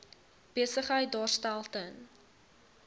besigheid daarstel ten